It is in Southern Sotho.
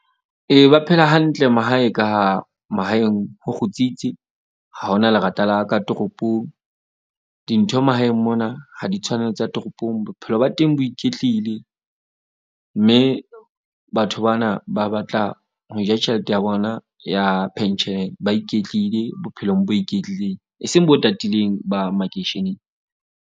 Ee, ba phela hantle mahae ka ha mahaeng ho kgutsitse. Ha hona lerata la ka toropong. Dintho mahaeng mona ha di tshwane tsa toropong. Bophelo ba teng bo iketlile, mme batho bana ba batla ho ja tjhelete ya bona ya pension. Ba iketlile bophelong bo iketlileng, e seng bo tatileng ba makeisheneng.